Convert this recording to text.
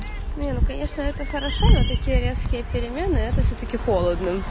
нет ну конечно это хорошо но такие резкие перемены это всё-таки холодно